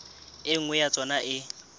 e nngwe ya tsona e